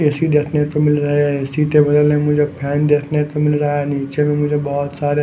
AC देखने को मिल रहा है ऐ_सी के बगल में मुझे फैन देखने को मिल रहा है नीचे में मुझे बहुत सारे --